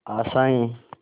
आशाएं